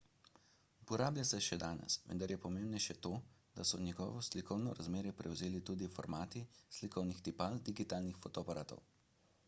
uporablja se še danes vendar je pomembnejše to da so njegovo slikovno razmerje prevzeli tudi formati slikovnih tipal digitalnih fotoaparatov